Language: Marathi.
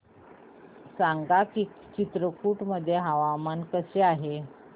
सांगा की चित्रकूट मध्ये हवामान कसे आहे